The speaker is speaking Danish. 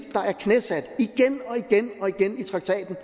der er knæsat igen og igen og igen i traktaten